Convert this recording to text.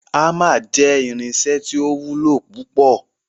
Hamer jẹ irinṣẹ ti o wulo pupọ